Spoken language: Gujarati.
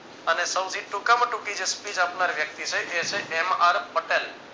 અને સૌથી ટૂંકા માં ટૂંકી જે speech આપનાર વ્યક્તિ છે એ છે એમ આર પટેલ